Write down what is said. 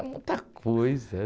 É muita coisa.